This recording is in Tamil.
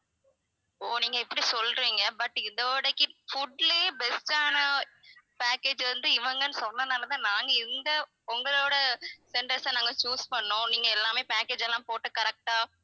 ஓ நீங்க இப்படி சொல்றீங்க but இதோடைக்கு food லயே best ஆன package வந்து இவங்கன்னு சொன்னதுனால நாங்க இந்த உங்களோட tendors அ நாங்க choose பண்ணோம் நீங்க எல்லாமே package எல்லாம் போட்டு correct ஆ